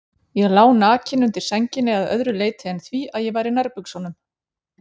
Ég lá nakinn undir sænginni að öðru leyti en því að ég var í nærbuxunum.